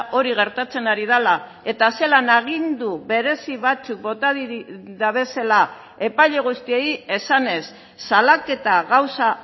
hori gertatzen ari dela eta zelan agindu berezi batzuk bota dabezela epaile guztiei esanez salaketa gauza